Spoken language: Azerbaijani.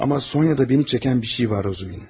Amma Sonyada məni çəkən bir şey var, Razumihin.